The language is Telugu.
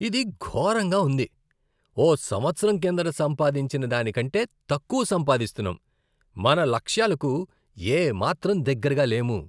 ఇది ఘోరంగా ఉంది! ఓ సంవత్సరం కిందట సంపాదించిన దాని కంటే తక్కువ సంపాదిస్తున్నాం, మన లక్ష్యాలకు ఏ మాత్రం దగ్గరగా లేము.